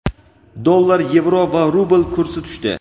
Dollar, yevro va rubl kursi tushdi.